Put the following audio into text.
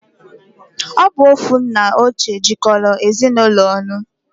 Obu ofu nna oche jikola Ezinụlọ onu?